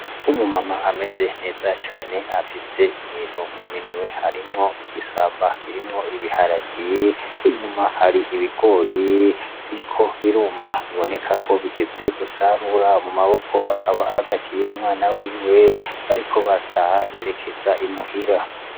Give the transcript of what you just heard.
Umu Mama ameze neza cane afise ibintu mu minwe harimwo igisamba kirimwo ibiharage , inyuma hari ibigori biriko biruma biboneka ko bigeze gusarura mu maboko akaba ahagatiye umwana wiwe bariko barataha berekeza i muhira.